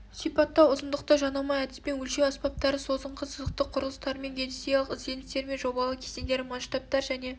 сипаттау ұзындықты жанама әдіспен өлшеу аспаптары созыңқы сызықтық құрылыстардың геодезиялық ізденістері мен жобалау кезеңдері масштабтар және